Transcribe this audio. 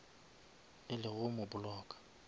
e le go mo blocka